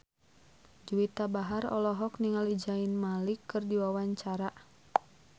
Juwita Bahar olohok ningali Zayn Malik keur diwawancara